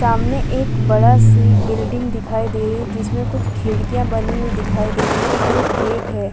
सामने एक बड़ा सी बिल्डिंग दिखाई दे रही हैं जिसमे कुछ खिडकियां बनी हुई दिखाई दे रही हैं और एक गेट हैं।